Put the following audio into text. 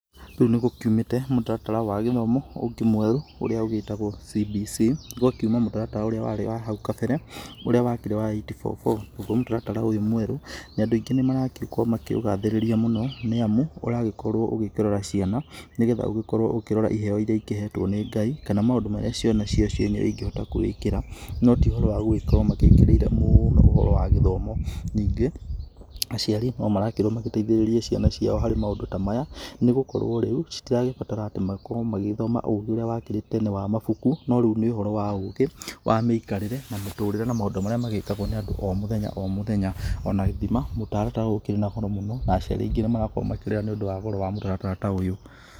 Rĩu nĩgũkiumĩte mũtaratara wa gĩthomo ũngĩ mwerũ ũrĩa ũgĩtagwo CBC, gũgakiuma mũtaratara urĩa warĩ wa hau kabere ũrĩa wakĩrĩ wa eight four four, naguo mũtaratara ũyũ mwerũ andũ nĩmaragĩkorwo makĩwĩgathĩrĩria mũno nĩamu ũragĩkorwo ũgĩkĩrora ciana, nĩgetha ũkorwo ũkĩrora iheo iria ikĩhetwo nĩ Ngai, kana maũndũ marĩa ciana cio cienyewe ingihota kwĩĩkĩra, no ti ũhoro wa gũgĩkorwo magĩkĩrĩire mũno ũhoro wa gĩthomo, ningĩ aciari nomarakĩrwo magĩteithĩrĩrie ciana ciao harĩ maũndũ ta maya, nĩgũkorwo rĩu citiragĩbatara atĩ makorwo magĩthoma ũgĩ ũrĩa wakĩrĩ tene wa mabuku , no rĩu nĩ ũhoro wa ũgĩ wa mĩikarĩre na mũtũrĩre na maũndũ marĩa magĩkagwo nĩ andũ o mũthenya o mũthenya, ona gĩthima mũtaratara ũyũ ũkĩrĩ na goro mũno na aciari aingĩ nĩmarakorwo makĩrĩra nĩũndũ wa goro wa mũtaratara ta ũyũ.